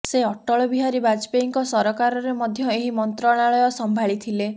ସେ ଅଟଳ ବିହାରୀ ବାଜପେୟୀଙ୍କ ସରକାରରେ ମଧ୍ୟ ଏହି ମନ୍ତ୍ରଣାଳୟ ସମ୍ଭାଳି ଥିଲେ